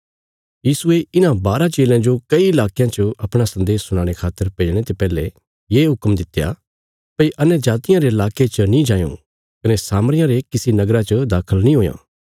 यीशुये इन्हां बाराँ चेलयां जो कई लाकयां च अपणा सन्देश सुनाणे खातर भेजणे ते पैहले ये हुक्म दित्या भई अन्यजातियां रे लाके च नीं जायों कने सामरियां रे किसी नगरा च दाखल नीं हुयां